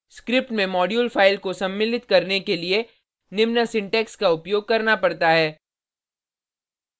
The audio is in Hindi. स्क्रिप्ट में मॉड्यूल फाइल को सम्मिलित करने के लिए निम्न सिंटेक्स का उपयोग करना पड़ता है